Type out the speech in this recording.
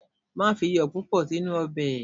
Má fi iyọ̀ púpọ̀ sínú ọbẹ̀.